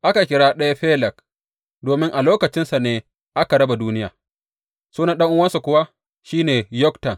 Aka kira ɗaya Feleg domin a lokacinsa ne aka raba duniya; sunan ɗan’uwansa kuwa shi ne Yoktan.